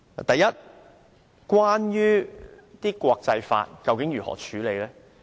第一，國際法將如何適用？